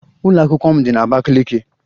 Ụlọ akwụkwọ m dị na Abakiliki